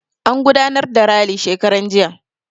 An gudanar da rali shekaran jiya.